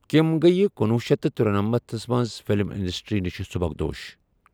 کِم گیہ کنوُہ شیتھ تہٕ تُرنمنتھ منٛز فِلم انڈسٹرِی نِشہِ سُبكدوش ۔